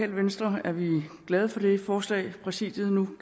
venstre er vi glade for det forslag præsidiet nu